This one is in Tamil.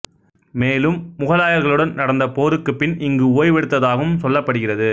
மேலும் முகாலயர்களுடன் நடந்த போருக்குப் பின் இங்கு ஓய்வெடுத்ததாகவும் சொல்லப்படுகிறது